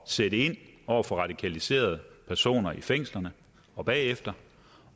sætte ind over for radikaliserede personer i fængslerne og bagefter